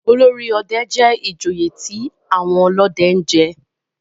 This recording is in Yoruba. olórí òde jé ìjòyè tí àwọn olóde jé.